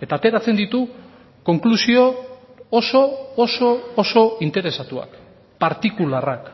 eta ateratzen ditu konklusio oso oso oso interesatuak partikularrak